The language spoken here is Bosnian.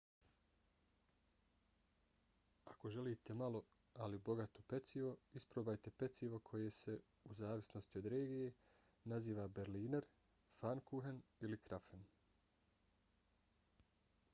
ako želite malo ali bogato pecivo isprobajte pecivo koje se u zavisnosti od regije naziva berliner pfannkuchen ili krapfen